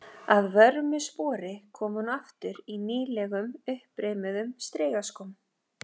Að vörmu spori kom hún aftur í nýlegum, uppreimuðum strigaskóm.